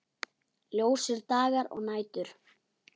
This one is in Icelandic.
Ljósir dagar og nætur.